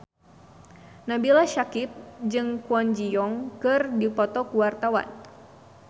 Nabila Syakieb jeung Kwon Ji Yong keur dipoto ku wartawan